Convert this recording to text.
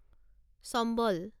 চম্বল